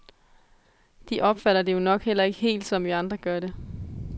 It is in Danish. De opfatter det jo nok heller ikke helt, som vi andre gør det.